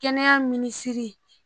Kɛnɛya minisiri